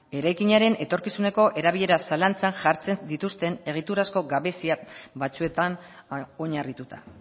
eraikinaren etorkizuneko erabilera zalantzan jartzen dituzten egiturazko gabezia batzuetan oinarrituta